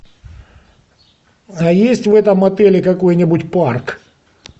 а есть в этом отеле какой нибудь парк